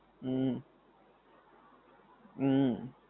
હમ હમ